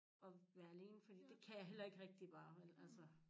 Og være alene fordi det kan jeg heller ikke rigtig bare vel altså